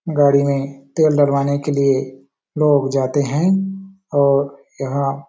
गाड़ी में तेल डलवाने के लिए लोग जाते है और यहाँ --